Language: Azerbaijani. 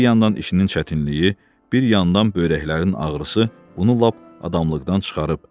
Bir yandan işinin çətinliyi, bir yandan böyrəklərin ağrısı, bunu lap adamlıqdan çıxarıb.